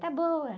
Tá boa.